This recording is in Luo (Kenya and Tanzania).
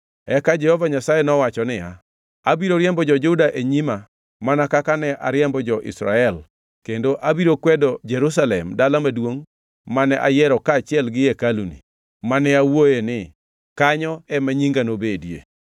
Eka Jehova Nyasaye nowacho niya, “Abiro riembo jo-Juda e nyima mana kaka ne ariembo jo-Israel kendo abiro kwedo Jerusalem dala maduongʼ mane ayiero kaachiel gi hekaluni, mane awuoyoe ni, ‘Kanyo ema Nyinga nobedie.’ ”